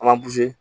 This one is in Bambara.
An b'an